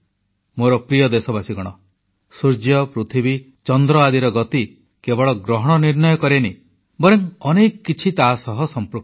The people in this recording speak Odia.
ମୋର ପ୍ରିୟ ଦେଶବାସୀ ସୂର୍ଯ୍ୟ ପୃଥିବୀ ଚନ୍ଦ୍ର ଆଦିର ଗତି କେବଳ ଗ୍ରହଣ ନିର୍ଣ୍ଣୟ କରେନି ବରଂ ଅନେକ କିଛି ତାସହିତ ସମ୍ପୃକ୍ତ